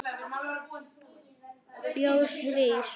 Fjós rís